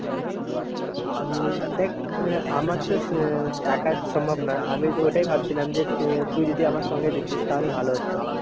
হম দেখ আমার তো একার সম্ভব না, আমিতো ওটাই ভাবছিলাম যে তুই যদি আমার সঙ্গে দিতিস তাহলে ভালো হতো।